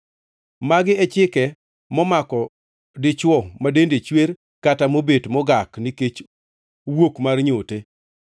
Magi e chike momako dichwo ma dende chwer kata mobet mogak nikech wuok mar nyote,